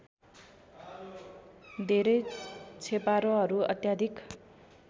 धेरै छेपारोहरू अत्याधिक